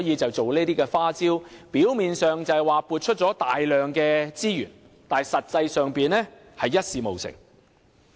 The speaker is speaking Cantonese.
政府利用這些花招，表面上是撥出了大量資源，但實際上一事無成。